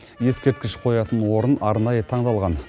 ескерткіш қоятын орын арнайы таңдалған